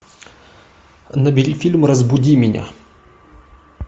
набери фильм разбуди меня